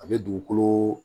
A bɛ dugukolo